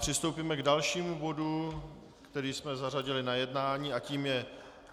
Přistoupíme k dalšímu bodu, který jsme zařadili na jednání, a tím je